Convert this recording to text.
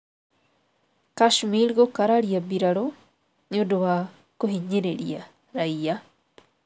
Kashmir gũkararia mbirarū nĩ ũndũ wa kũhinyĩrĩria raiya